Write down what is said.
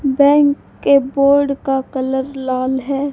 Bank के board का colour लाल है।